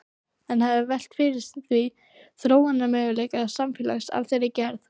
En hefurðu velt fyrir þér þróunarmöguleikum samfélags af þeirri gerð?